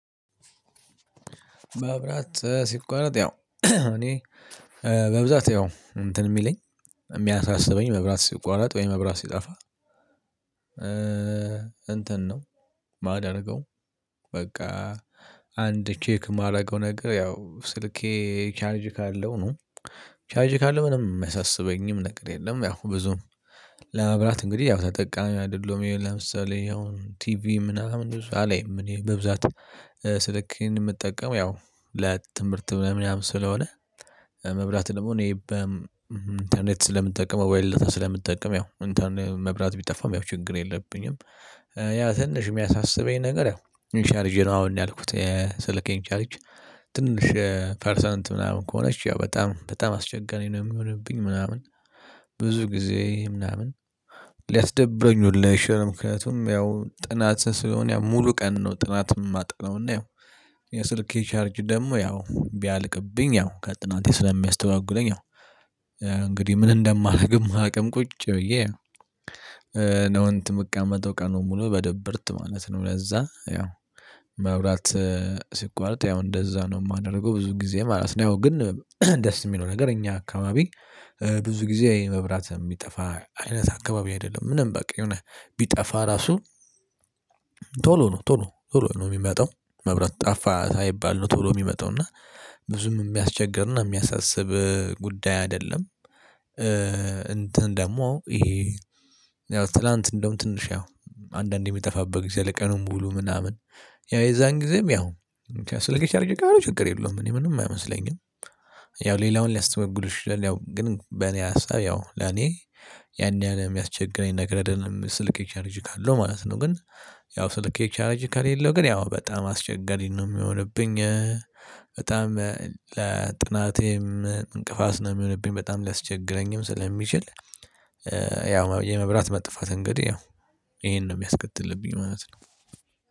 መብራት ሲቋረጥ ያው እኔ በብዛት ያው እንትን የሚለኝ የሚያሳስበኝ መብራት ሲቋረጥ ወይ መብራት ሲጠፋ እንትን ነው ማደርገው በቃ አንድ ቼክ የማደርገው ነገር ያው ስልኬ ቻርጅ ካለው ነው። ቻርጅ ካለው ምንም የሚያሳስበኝም ነገር የለም ያው ብዙም ለመብላት እንግዲህ ያው ተጠቃሚ አይደለሁም ለምሳሌ ያው ቲቪ ምናምን አላይም እኔ በብዛት ስልኬን የምጠቀመው ያው ለትምህርት ለምናምን ስለሆነ መብላት ደግሞ እኔ በኢንተርኔት ስለምጠቀም ሞባይል ዳታ ስለምጠቀም ያው እንተርኔ መብራት ቢጠፋም ያው ችግር የለብኝም። ያው ትንሽ የሚያሳስበኝ ነገር ያው ቻርጅ ነው አሁን ያልኩት ስልኬን ቻርጅ ትንሽ ፐርሰንት ምናምን ከሆነች ያው በጣም በጣም አስቸጋሪ ነው የሚሆንብኝ ምናምን ብዙ ጊዜ ምናምን ሊያስደብረኝ ሁሉ ይችላል። ምክንያቱም ያው ጥናት ስለሆነ ያው ሙሉ ቀን ነው ጥናት የማጥነው እና ያው የስልኬ ቻርጅ ደግሞ ያው ቢያልቅብኝ ያው ከጥናቴ ስለሚያስተጓጉለኝ ያው እንግዲህ ምን እንደማደርግም አላቅም ቁጭ ብዬ ነው እንትን የምቀመጠው ቀኑን ሙሉ በድብርት ማለት ነው ለዛ ያው መብራት ሲቋረጥ ያው እንደዛ ነው የማደርገው ብዙ ጊዜ ማለት ነው። ያው ግን ደስ የሚለው ነገር እኛ አካባቢ ብዙ ጊዜ መብራት የሚጠፋ አይነት አካባቢ አይደለም። ምንም በቃ የሆነ ቢጠፋ ራሱ ቶሎ ነው ቶሎ ቶሎ ነው የሚመጣው። መብራት ጠፋ ሳይባል ነው ቶሎ የሚመጣው፤ እና ብዙም የሚያስቸግርና የሚያሳስብ ጉዳይ አይደለም። እንትን ደግሞ ይሄ ያው ትላንት እንደውም ትንሽ ያው አንዳንድ የሚጠፋበት ጊዜ አለ ቀኑን ሙሉ ምናምን ያው የዛን ጊዜም ያው ስልኬ ቻርጅ ካለው ችግር የለውም እኔ ምንም አይመስለኝም። ያው ሌላውን ሊያስተጓጉል ይችላል። ያው ግን በኔ ሀሳብ ያው ለኔ ያን ያህል የሚያስቸግረኝ ነገር አደለም ስልኬ ቻርጅ ካለው ማለት ነው፤ ግን ያው ስልኬ ቻርጅ ከሌለው ግን ያው በጣም አስቸጋሪ ነው የሚሆንብኝ። በጣም ለጥናቴም እንቅፋት ነው የሚሆንብኝ በጣም ሊያስቸግረኝም ስለሚችል ያው የመብራት መጥፋት እንግዲህ ያው ይሄን ነው የሚያስከትልብኝ ማለት ነው።